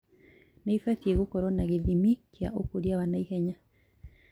nĩibatie gũkorwo na gĩthimi kĩa ũkũria wa naihenya